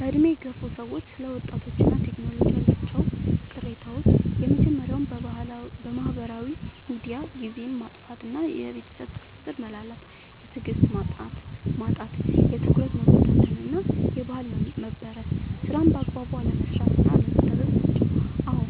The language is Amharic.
በዕድሜ የገፉ ሰዎች ስለ ወጣቶችና ቴክኖሎጂ ያላቸው ቅሬታዎች የመጀመርያው በማህበራዊ ሚዲያ ጊዜን ማጥፋት እና የቤተሰብ ትስስር መላላት። የትዕግስት ማጣት፣ የትኩረት መበታተን እና የባህል መበረዝ። ስራን በአግባቡ አለመስራት እና አለመታዘዝ ናቸው። አዎ፣